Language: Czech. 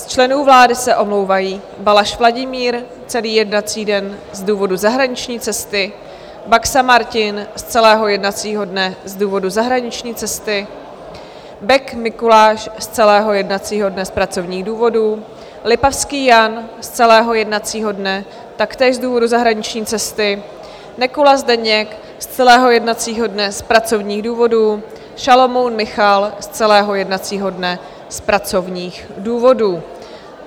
Z členů vlády se omlouvají: Balaš Vladimír - celý jednací den z důvodu zahraniční cesty, Baxa Martin z celého jednacího dne z důvodu zahraniční cesty, Bek Mikuláš z celého jednacího dne z pracovních důvodů, Lipavský Jan z celého jednacího dne taktéž z důvodu zahraniční cesty, Nekula Zdeněk z celého jednacího dne z pracovních důvodů, Šalomoun Michal z celého jednacího dne z pracovních důvodů.